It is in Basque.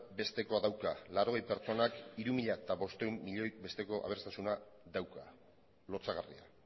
bestekoa dauka laurogei pertsonak hiru mila bostehun milioi besteko aberastasuna dauka lotsagarria